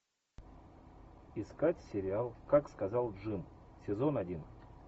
искать сериал как сказал джим сезон один